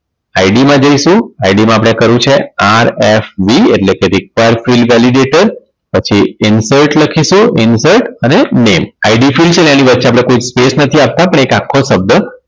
ID માં જઈશું ID માં આપણે કરવું છે RFV એટલે કે require fild velidater પછી infort લખીશું infort અને nameIDfild છે એની વચ્ચે આપણે કોઈ space નથી આપવા પણ એક આખો શબ્દ